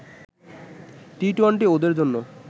T twenty ওদের জন্য